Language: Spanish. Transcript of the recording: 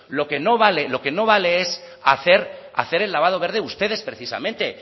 lo que no vale lo que no vale es hacer el lavado verde ustedes precisamente